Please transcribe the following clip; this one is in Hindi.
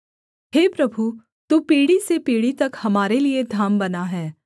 हे प्रभु तू पीढ़ी से पीढ़ी तक हमारे लिये धाम बना है